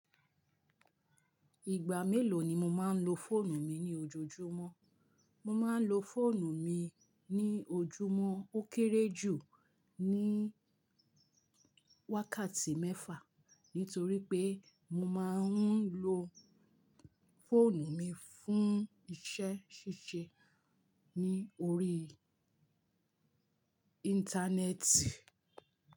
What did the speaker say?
Ìgbà mélòó ni mo máa ń lo fóònù mi ní ojoojúmọ́? Mo máa ń lo fóònù mi ní ojúmọ́ ó kéré jù ní wákàtí mẹ́fà, nítorí pé mo máa ń lo fóònù mi fún iṣẹ́ ṣíṣe ní orí Íńtánẹ́ẹ̀tì.